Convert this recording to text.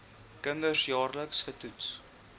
kinders jaarliks getoets